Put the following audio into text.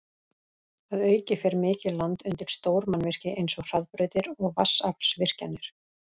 Að auki fer mikið land undir stór mannvirki eins og hraðbrautir og vatnsaflsvirkjanir.